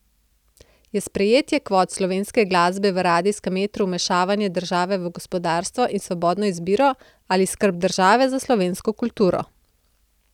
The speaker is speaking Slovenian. Je sprejetje kvot slovenske glasbe v radijskem etru vmešavanje države v gospodarstvo in svobodno izbiro ali skrb države za slovensko kulturo?